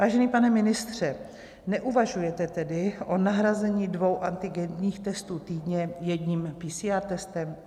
Vážený pane ministře, neuvažujete tedy o nahrazení dvou antigenních testů týdně jedním PCR testem?